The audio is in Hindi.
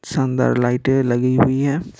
शानदार लाइटें लगी हुई है।